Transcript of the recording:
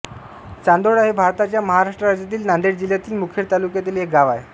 चांदोळा हे भारताच्या महाराष्ट्र राज्यातील नांदेड जिल्ह्यातील मुखेड तालुक्यातील एक गाव आहे